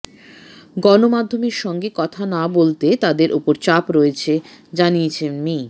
গণমাধ্যমের সঙ্গে কথা না বলতে তাদের ওপর চাপ রয়েছে জানিয়ে মি